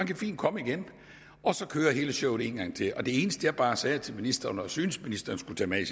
kan fint komme igen og så kører hele showet en gang til og det eneste jeg bare sagde til ministeren og synes ministeren skulle tage med i